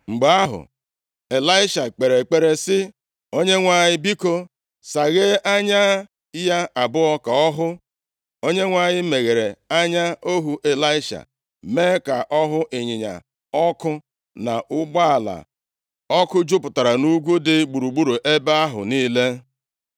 Mgbe ahụ, Ịlaisha kpere ekpere sị, “ Onyenwe anyị, biko, saghee anya ya abụọ ka ọ hụ.” Onyenwe anyị meghere anya ohu Ịlaisha, mee ka ọ hụ ịnyịnya ọkụ, na ụgbọala ọkụ jupụtara nʼugwu dị gburugburu ebe ahụ niile.